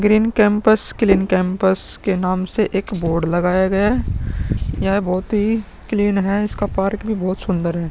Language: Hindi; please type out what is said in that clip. ग्रीन केंपस क्लीन केंपस के नाम से एक बोर्ड बनाया गया है। यह बहुत ही क्लीन है। इसका पार्क भी बहुत सुंदर है।